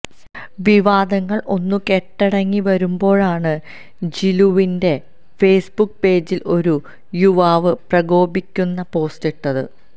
വിവാദങ്ങള് ഒന്നുകെട്ടടങ്ങി വരുമ്പോഴാണ് ജിലുവിന്റെ ഫേസ്ബുക്ക് പേജില് ഒരു യുവാവ് പ്രകോപിപ്പിക്കുന്ന പോസ്റ്റിട്ടത്